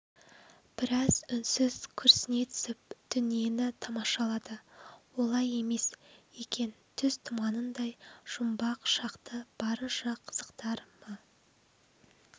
біраз үнсіз күрсіне түсіп дүниені тамашалады олай емес екен түс түманындай жұмбақ шақты барынша қызықтар ма